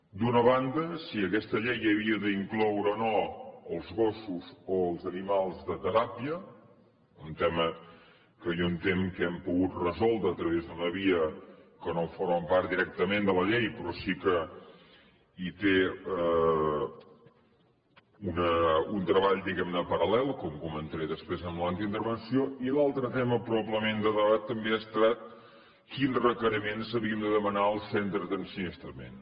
d’una banda si aquesta llei havia d’incloure o no els gossos o els animals de teràpia un tema que jo entenc que hem pogut resoldre a través d’una via que no forma part directament de la llei però sí que hi té un treball diguem ne paral·lel com comentaré després en l’altra intervenció i l’altre tema probablement de debat també ha estat quins requeriments havíem de demanar als centres d’ensinistrament